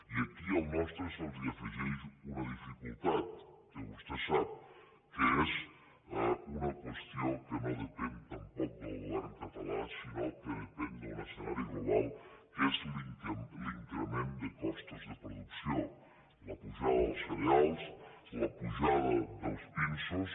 i aquí als nostres se’ls afegeix una dificultat que vostè sap que és una qüestió que no de pèn tampoc del govern català sinó que depèn d’un es cenari global que és l’increment de costos de producció la pujada dels cereals la pujada dels pinsos